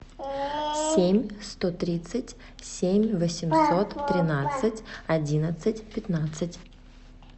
семь сто тридцать семь восемьсот тринадцать одиннадцать пятнадцать